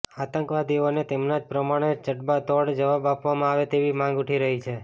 આતંકવાદીઓને તેમના જ પ્રમાણે જડબાતોડ જવાબ આપવામા આવે તેવી માંગ ઉઠી રહી છે